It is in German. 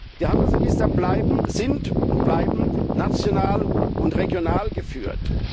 Die Handelsregister sind und bleiben national und regional geführt.